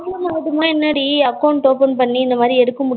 account open பண்ணி இந்த மாரி எடுக்க முடியலனா